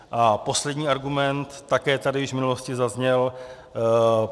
A poslední argument, také tady již v minulosti zazněl.